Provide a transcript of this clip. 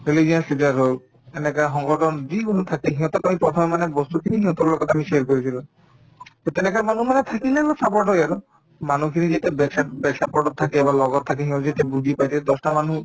religious leader হওক এনেকা সংগঠন যিকোনো থাকে সিহঁতক আমি প্ৰথমে মানে বস্তুখিনিক সিহঁতৰ লগত আমি share কৰিছিলো to তেনেকা মানুহ মানে থাকিলে অলপ support হয় আৰু মানুহখিনিক যেতিয়া badsup bad support তত থাকে বা লগত থাকে সিহঁতে তেতিয়া বুজি পাই তেতিয়া দহটা মানুহক